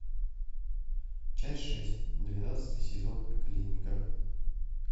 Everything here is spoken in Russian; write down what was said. часть шесть двенадцатый сезон клиника